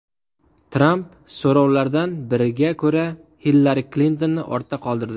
Tramp so‘rovlardan biriga ko‘ra Hillari Klintonni ortda qoldirdi.